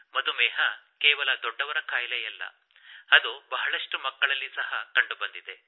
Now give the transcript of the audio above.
ಮಧುಮೇಹ ಕೇವಲ ದೊಡ್ಡವರ ಖಾಯಿಲೆಯಲ್ಲ ಅದು ಬಹಳಷ್ಟು ಮಕ್ಕಳಲ್ಲಿ ಸಹ ಕಂಡುಬಂದಿದೆ